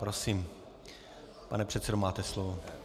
Prosím, pane předsedo, máte slovo.